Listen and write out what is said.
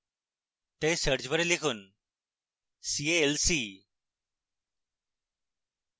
তাই search bar লিখুন c a l c